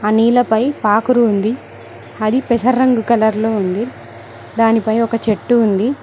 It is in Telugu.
నీళ్లపై పాకరుంది అది పెసర రంగు కలర్ లో ఉంది దానిపై ఒక చెట్టు ఉంది.